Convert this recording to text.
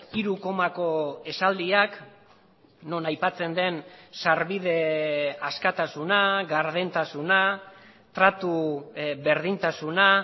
hiru komako esaldiak non aipatzen den sarbide askatasuna gardentasuna tratu berdintasuna